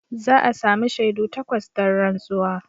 Za a sami shaidu takwas don rantsuwa.